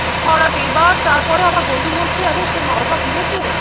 হাওড়াতে। এইবার তারপরে আমার বন্ধু বলছে আরে তোর মা-বাবা ফিরেছে?